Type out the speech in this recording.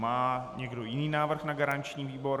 Má někdo jiný návrh na garanční výbor?